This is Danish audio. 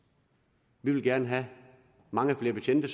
vi vil gerne have mange flere betjente